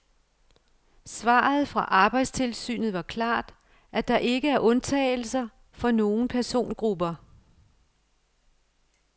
Svaret fra arbejdstilsynet var klart, at der ikke er undtagelser for nogen persongrupper.